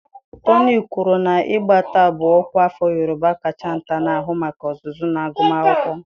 Toni kwuru na Egbata bụ ọkwa afọ Yorùbá kacha nta na-ahụ maka ọzụzụ na agụmakwụkwọ.